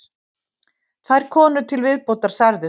Tvær konur til viðbótar særðust